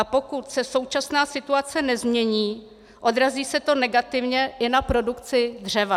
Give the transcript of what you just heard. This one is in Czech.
A pokud se současná situace nezmění, odrazí se to negativně i na produkci dřeva.